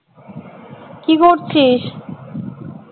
কি করছিস